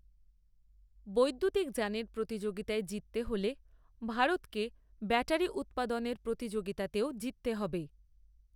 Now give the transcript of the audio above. বৈদ্যুতিক যানের প্রতিযোগিতায় জিততে হলে ভারতকে ব্যাটারি উৎপাদনের প্রতিযোগিতাতেও জিততে হবে।